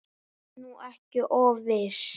Vertu nú ekki of viss.